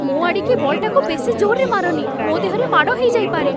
ମୋ ଆଡ଼ିକି ବଲ୍‌ଟାକୁ ବେଶି ଜୋର୍‌ରେ ମାରନି । ମୋ ଦେହରେ ମାଡ଼ ହେଇଯାଇପାରେ ।